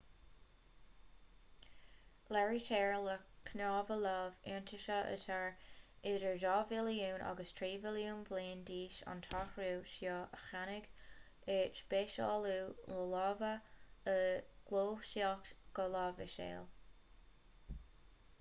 léirítear le cnámha lámh iontaise atá idir dhá mhilliún agus trí mhilliún bliain d'aois an t-athrú seo a tháinig ar speisialú na láimhe ó ghluaiseacht go láimhseáil